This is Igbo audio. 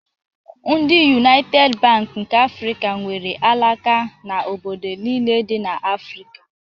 Ndị Yunaited Bank nke Afrịka nwere alaka na obodo niile dị n'Afrịka.